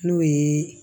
N'o ye